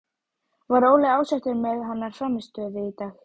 Var Óli ósáttur með hennar frammistöðu í dag?